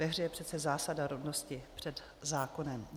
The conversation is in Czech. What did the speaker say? Ve hře je přece zásada rovnosti před zákonem.